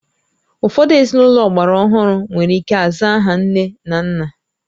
Ụfọdụ ezinụlọ ọgbara ọhụrụ nwere ike aza aha nne na nna